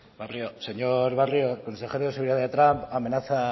señor barrio el consejero de seguridad de trump amenaza a